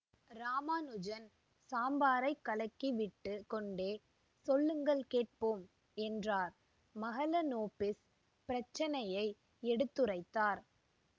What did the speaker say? இராமானுஜன் சாம்பாரை கலக்கிவிட்டுக் கொண்டே சொல்லுங்கள் கேட்போம் என்றார் மஹலனோபிஸ் பிர்ச்சினையை எடுத்துரைத்தார்